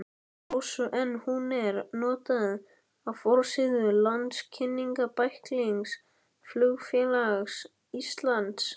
Rósu en hún var notuð á forsíðu landkynningarbæklings Flugfélags Íslands.